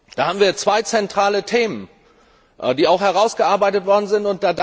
Da haben wir zwei zentrale Themen, die auch herausgearbeitet worden sind.